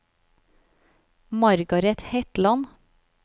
Margaret Hetland